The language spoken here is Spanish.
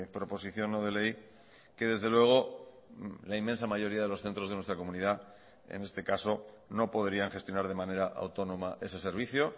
proposición no de ley que desde luego la inmensa mayoría de los centros de nuestra comunidad en este caso no podrían gestionar de manera autónoma ese servicio